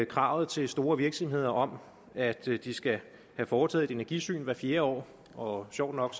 kravet til store virksomheder om at de skal have foretaget et energisyn hvert fjerde år og sjovt nok